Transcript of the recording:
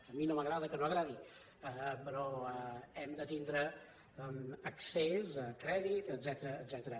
a mi no m’agrada que no agradi però hem de tindre accés a crèdit etcètera